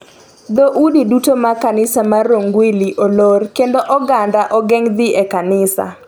dho udi duto mag kanisa mar Rongguili oloro, kendo oganda ogeng' dhi e kanisa.